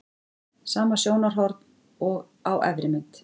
Sama sjónarhorn og á efri mynd.